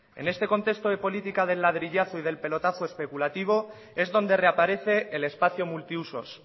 en este contexto de política del ladrillazo y del pelotazo especulativo es donde reaparece el espacio multiusos